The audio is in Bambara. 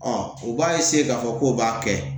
u b'a k'a fɔ k'o b'a kɛ